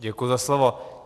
Děkuji za slovo.